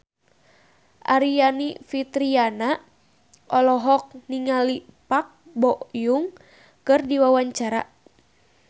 Aryani Fitriana olohok ningali Park Bo Yung keur diwawancara